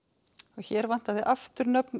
hér vantaði aftur nöfn